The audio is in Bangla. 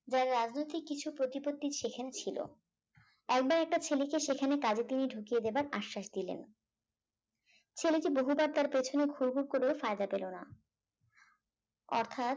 যার রাজনৈতিক কিছু প্রতিপত্তি সেখানে ছিল একবার একটা ছেলেকে সেখানে কাজে তিনি ঢুকিয়ে দেবার আশ্বাস দিলেন ছেলেটি বহুবার তার পেছনে ঘুরঘুর করেও ফায়দা পেল না অর্থাৎ